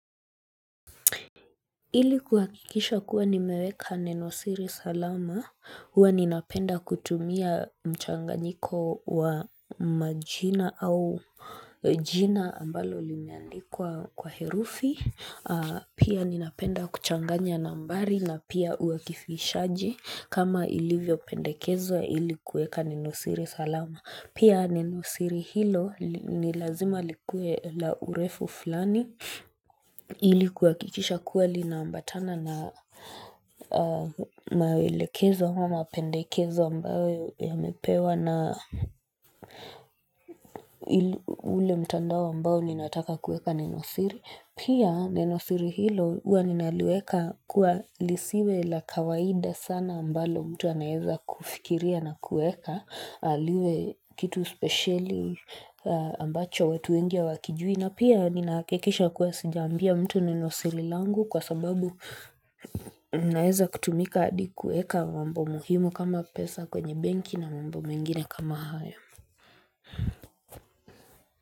Ilikuwakikisha kuwa nimeweka nenosiri salama, huwa ninapenda kutumia mchanganyiko wa majina au jina ambalo limeandikwa kwa herufi, pia ninapenda kuchanganya nambari na pia uakifishaji kama ilivyo pendekezwa ili kuweka nenosiri salama. Pia nenosiri hilo ni lazima likue la urefu fulani ili kuakikisha kuwa lina ambatana na mawelekezo ama pendekezo ambayo yamepewa na ule mtandao ambao ninataka kueka nenosiri. Pia nenosiri hilo huwa ninaliweka kuwa lisiwe la kawaida sana ambalo mtu anaeza kufikiria na kueka, liwe kitu speciali ambacho wetu wengi hawakijui. Na pia ninaakikisha kuwa sija ambia mtu nenosiri langu kwa sababu naeza kutumika adi kueka mambo muhimu kama pesa kwenye benki na mambo mengine kama haya.